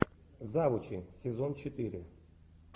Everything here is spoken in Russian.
завучи сезон четыре